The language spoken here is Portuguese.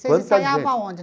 Vocês ensaiavam aonde?